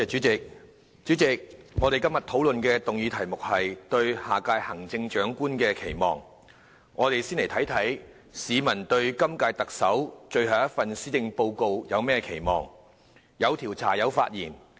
主席，今天討論的議案題目是"對下任行政長官的期望"，讓我們先看看市民對今屆特首最後一份施政報告有何期望。